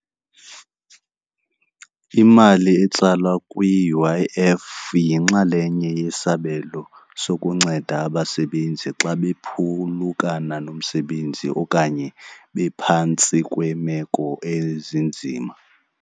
Imali etsalwa kwi-U_I_F yinxalenye yesabelo sokunceda abasebenzi xa bephulukana nomsebenzi okanye bephantsi kweemeko ezinzima.